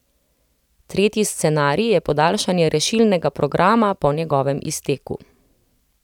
Tretji scenarij je podaljšanje rešilnega programa po njegovem izteku.